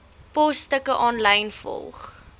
posstukke aanlyn volg